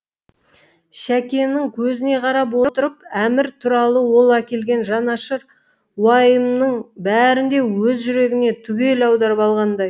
шәкенің көзіне қарап отырып әмір туралы ол әкелген жанашыр уайымының бәрін де өз жүрегіне түгел аударып алғандай